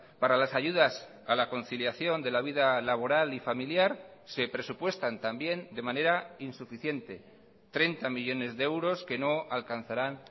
para las ayudas a la conciliación de la vida laboral y familiar se presupuestan también de manera insuficiente treinta millónes de euros que no alcanzarán